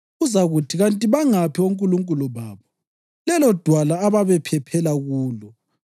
Uzakuthi: ‘Kanti bangaphi onkulunkulu babo, lelodwala ababephephela kulo,